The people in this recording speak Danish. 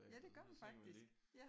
Ja det gør man faktisk ja